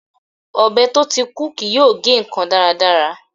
Ọbẹ̀ tó ti kú kì yóò gé ǹkan dáradára.